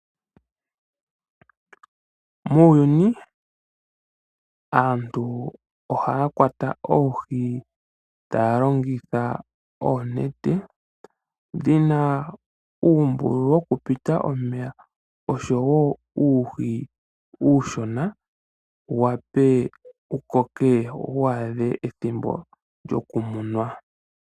Muuyuni aantu ohaya kwata oohi, taa longitha oonete dhi na uumbululu wo ku pita omeya osho woo uuhi uushona, wu wape wu koke, wo waadhe ethimbo lyoku munwa .